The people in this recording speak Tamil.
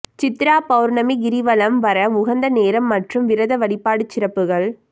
சித்ரா பவுர்ணமி கிரிவலம் வர உகந்த நேரம் மற்றும் விரத வழிபாடு சிறப்புகள்